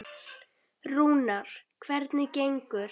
Rúnar, hvernig gengur?